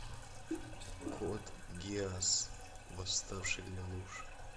код гиас восставший лелуш